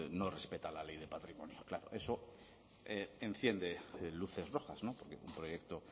no respeta la ley de patrimonio claro eso enciende luces rojas porque un proyecto